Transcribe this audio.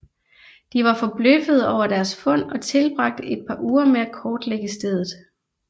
De var forbløffede over deres fund og tilbragte et par uger med at kortlægge stedet